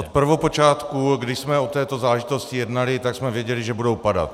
Od prvopočátku, kdy jsme o této záležitosti jednali, tak jsme věděli, že budou padat.